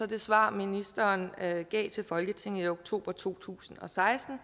det svar ministeren gav til folketinget i oktober to tusind og seksten